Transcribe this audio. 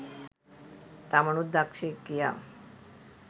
තමනුත් දක්ෂයෙක් කියා.